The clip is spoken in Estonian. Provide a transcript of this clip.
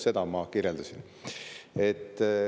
Seda ma kirjeldasin.